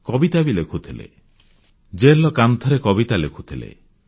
କବିତା ବି ଲେଖୁଥିଲେ ଜେଲର କାନ୍ଥରେ କବିତା ଲେଖୁଥିଲେ